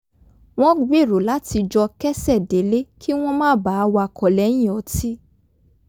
wọ́n gbèrò láti jọ ké̩sè̩ délé kí wọ́n má bàa wakọ̀ lè̩yìn o̩tí